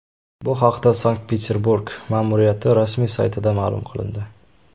Bu haqda Sankt-Peterburg ma’muriyati rasmiy saytida ma’lum qilindi .